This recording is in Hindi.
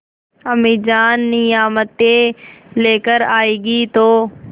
अम्मीजान नियामतें लेकर आएँगी तो